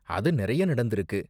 அது நிறைய நடந்துருக்கு!